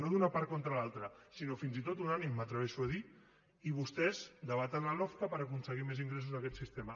no d’una part contra l’altra sinó fins i tot unànime m’atreveixo a dir i vostès debaten la lofca per aconseguir més ingressos d’aquest sistema